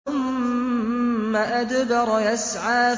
ثُمَّ أَدْبَرَ يَسْعَىٰ